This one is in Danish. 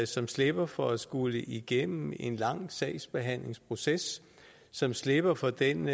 som slipper for at skulle igennem en lang sagsbehandlingsproces som slipper for den